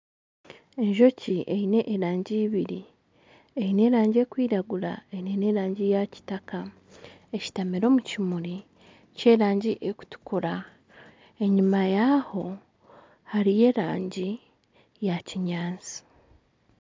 Enjoki eyine erangi ibiri. Eyine erangi erikwiragura, eine n'erangi ya Kitaka. Esitamire omu kimuri ky'erangi erikutukura. Enyima yaho, hariho erangi ya kinyaasi.